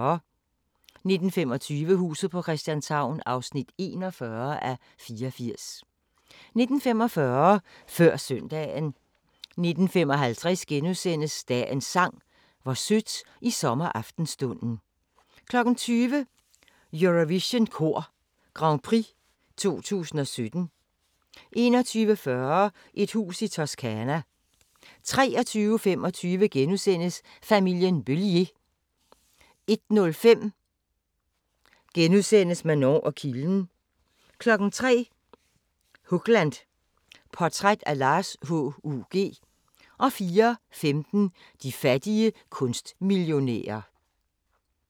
19:25: Huset på Christianshavn (41:84) 19:45: Før søndagen 19:55: Dagens Sang: Hvor sødt i sommeraftenstunden * 20:00: Eurovision Kor Grand Prix 2017 21:40: Et hus i Toscana 23:25: Familien Beliér * 01:05: Manon og kilden * 03:00: Hugland – Portræt af Lars H.U.G. 04:15: De fattige kunstmillionærer